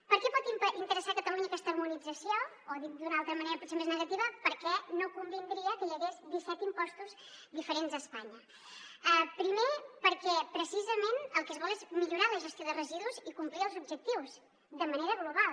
per què pot interessar a catalunya aquesta harmonització o dit d’una altra manera potser més negativa per què no convindria que hi hagués disset impostos diferents a espanya primer perquè precisament el que es vol és millorar la gestió de residus i complir els objectius de manera global